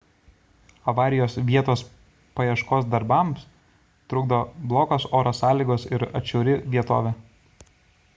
avarijos vietos paieškos darbams trukdo blogos oro sąlygos ir atšiauri vietovė